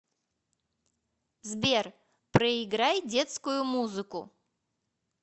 сбер проиграй детскую музыку